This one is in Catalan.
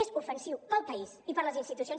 és ofensiu pel país i per les institucions